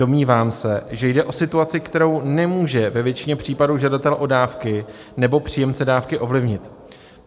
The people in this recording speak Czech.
Domnívám se, že jde o situaci, kterou nemůže ve většině případů žadatel o dávky nebo příjemce dávky ovlivnit.